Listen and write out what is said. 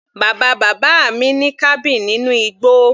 Bàbá bàbá mi ní cabin nínú igbó.